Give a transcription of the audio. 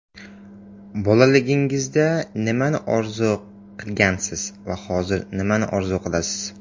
Bolaligingizda nimani orzu qilgansiz va hozir nimani orzu qilasiz?